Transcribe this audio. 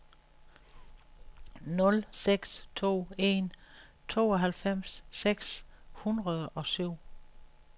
nul seks to en tooghalvfems seks hundrede og syv